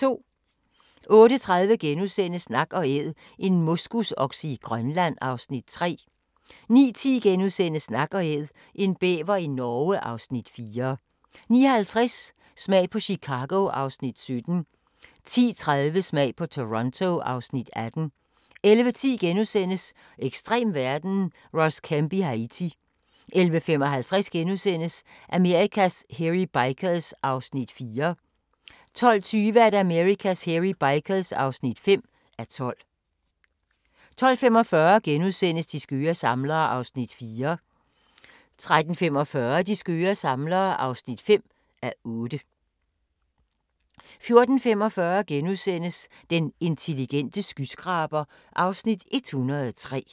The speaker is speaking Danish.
08:30: Nak & Æd - en moskusokse i Grønland (Afs. 3)* 09:10: Nak & Æd – en bæver i Norge (Afs. 4)* 09:50: Smag på Chicago (Afs. 17) 10:30: Smag på Toronto (Afs. 18) 11:10: Ekstrem verden – Ross Kemp i Haiti * 11:55: Amerikas Hairy Bikers (4:12)* 12:20: Amerikas Hairy Bikers (5:12) 12:45: De skøre samlere (4:8)* 13:45: De skøre samlere (5:8) 14:45: Den intelligente skyskraber (Afs. 103)*